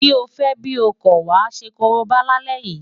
Bí o fẹ́ bí o kọ̀, wàá ṣe korobá lálẹ́ yìí!